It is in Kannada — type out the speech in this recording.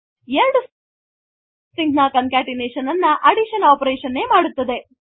ಎರಡು stringsನ ಕಾಂಕೆಟೆನೇಷನ್ ಅನ್ನು ಅಡಿಷನ್ operationನೆ ಮಾಡುತ್ತದೆ